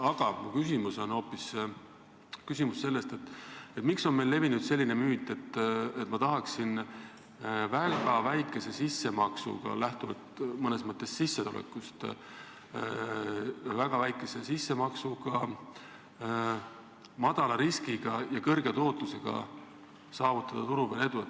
Aga mu küsimus on hoopis selle kohta, et miks on meil levinud hoiak, et tahetakse väga väikese sissemaksega – lähtuvalt mõnes mõttes sissetulekust –, väikese riskiga ja suure tootlusega saavutada turu peal edu.